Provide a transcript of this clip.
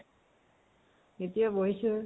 এতিয়া বহিছো।